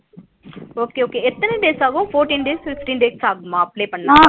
Okay okay எத்தன days ஆகும் fourteen days fifteen days ஆகுமா apply பண்ண